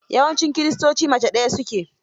Yawancin kiristoci mave ɗaya su ke.